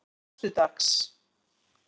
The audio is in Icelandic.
föstudags